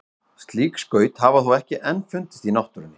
Slík skaut hafa þó ekki enn fundist í náttúrunni.